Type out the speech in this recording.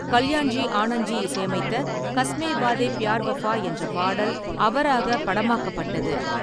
கல்யாண்ஜி ஆனந்த்ஜி இசையமைத்த “காஸ்மே வாதே பியார் வாஃபா” என்ற பாடல் அவராகப் படமாக்கப்பட்டது.